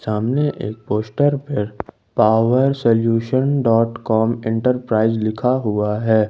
सामने एक पोस्टर पर power solution dot com enterprise लिखा हुआ है।